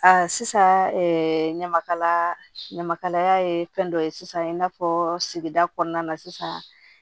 A sisan ɲamakalaya ɲamaya ye fɛn dɔ ye sisan i n'a fɔ sigida kɔnɔna na sisan